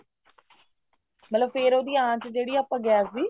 ਮਤਲਬ ਫ਼ੇਰ ਉਹਦੀ ਆਂਚ ਜਿਹੜੀ ਆ ਆਪਾਂ ਗੈਸ ਦੀ